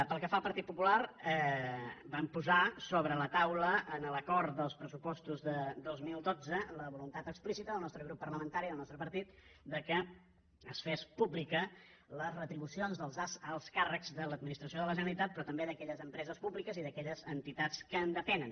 pel que fa al partit popular vam posar sobre la taula en l’acord dels pressupostos de dos mil dotze la voluntat explícita del nostre grup parlamentari del nostre partit que es fessin públiques les retribucions dels alts càrrecs de l’administració de la generalitat però també d’aquelles empreses públiques i d’aquelles entitats que en depenen